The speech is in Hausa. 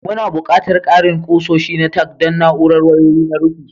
Muna buƙatar ƙarin kusoshi na tack don na'urar wayoyi na rufi.